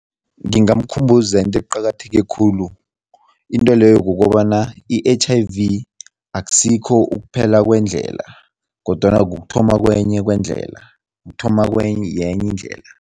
Ngingamkhumbuza into eqakatheke khulu, intweleyo kukobana i-H_I_V akusikho ukuphela kwendlela kodwana kukuthoma kwenye kwendlela, kuthoma yenye indlela.